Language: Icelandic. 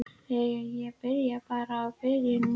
Jæja, ég byrja bara á byrjuninni.